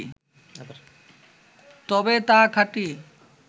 তবে তা খাঁটি